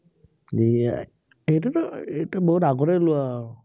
এৰ এয়াই, সেইটোতো সেইটো বহুত আগতে লোৱা আৰু।